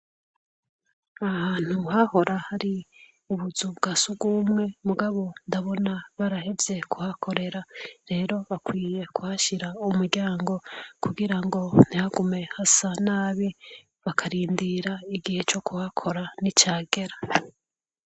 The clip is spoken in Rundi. ahantu hahora hari ubuzu bwasugumwe mugabo ndabona barahebye kuhakorera rero bakwiye kuhashyira umuryango kugira ngo ntihagume hasa nabi bakarindira igihe cyo kuhakora n'icagera